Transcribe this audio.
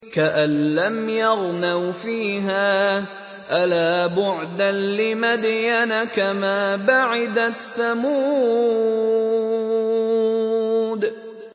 كَأَن لَّمْ يَغْنَوْا فِيهَا ۗ أَلَا بُعْدًا لِّمَدْيَنَ كَمَا بَعِدَتْ ثَمُودُ